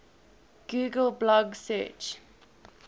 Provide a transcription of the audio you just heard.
google blog search